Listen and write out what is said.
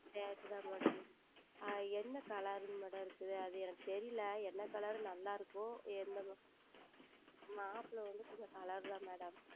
அது தான் என்ன Color Madam இருக்கிறது அது எனக்கு தெரியவில்லை என்ன Color நன்றாக இருக்கும் எந்த மாதிரி மாப்பிளை வந்து கொஞ்சம் Color தான் Madam